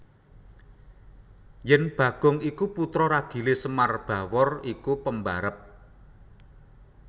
Yen Bagong iku putra ragile Semar Bawor iku pembarep